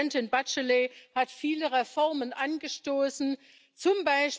Präsidentin Bachelet hat viele Reformen angestoßen, z.